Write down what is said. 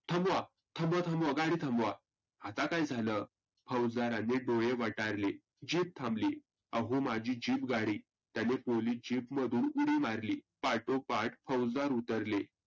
थांबवा थांबवा थांबवा गाडी थांबवा. आता काय झालं? फौजदारानी डोळे वटारले, Jeep थांबली आहो माझी Jeep गाडी. त्यानी पोलीस Jeep मधुन उडी मारली पाठो पाठ फौजदार उतरले.